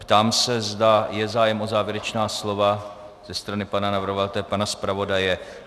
Ptám se, zda je zájem o závěrečná slova ze strany pana navrhovatele, pana zpravodaje.